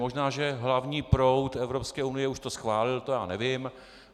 Možná že hlavní proud Evropské unie už to schválil, to já nevím.